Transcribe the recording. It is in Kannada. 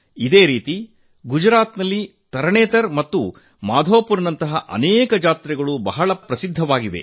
ಅಂತೆಯೇ ಗುಜರಾತ್ ನಲ್ಲಿ ತರಣೇತರ್ ಮತ್ತು ಮಾಧೋಪುರ್ ನಂತಹ ಅನೇಕ ಜಾತ್ರೆಗಳು ಬಹಳ ಪ್ರಸಿದ್ಧವಾಗಿದೆ